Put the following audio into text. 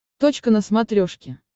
точка на смотрешке